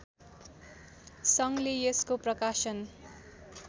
सङ्घले यसको प्रकाशन